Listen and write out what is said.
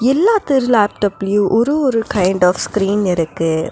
எல்லாத்துர் லேப்டாப்லயு ஒரு ஒரு கைண்ட் ஆஃப் ஸ்கிரீன் இருக்கு.